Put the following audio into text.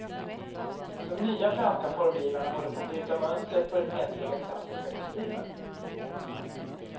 De nya franska formgivarna håller på att bryta mönstret på den hederliga klassiska kostymen.